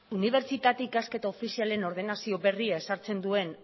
unibertsitate ikasketa ofizialen ordenazio berria ezartzen duen